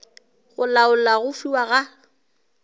go laola go fiwa ga